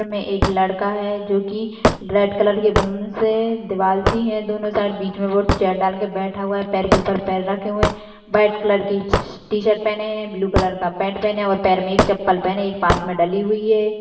इम एक लड़का है जो की रेड कलर के बलून से दीवाल सी है दोनों साइड़ बीच में वह चेयर डाल कर बैठा हुआ है पैर के ऊपर पैर रखे हुए है व्हाइट कलर की टी शर्ट पहने हैं ब्लू कलर का पेंट पहने है और पैर में एक चप्पल पहने है एक पास में डली हुई है।